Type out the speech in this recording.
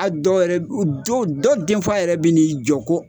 A' dɔw yɛrɛ b u dow dɔw den fa yɛrɛ bi n'i jɔ ko